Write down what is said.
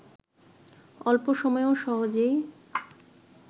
অল্প সময়ে ও সহজেই